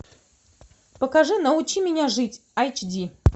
покажи научи меня жить айч ди